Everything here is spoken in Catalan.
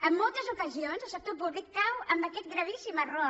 en moltes ocasions el sector públic cau en aquest gravíssim error